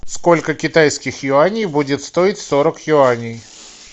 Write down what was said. сколько китайских юаней будет стоить сорок юаней